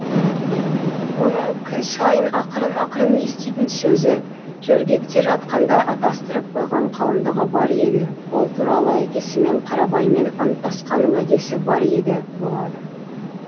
оның күн сайын ақырын ақырын еститін сөзі жөргекте жатқанда атастырып қойған қалыңдығы бар еді ол туралы әкесімен қарабаймен анттасқан уәдесі бар еді болады